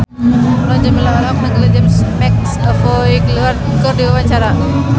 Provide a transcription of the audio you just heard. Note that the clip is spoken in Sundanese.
Mulan Jameela olohok ningali James McAvoy keur diwawancara